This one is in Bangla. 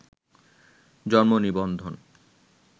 জন্মনিবন্ধন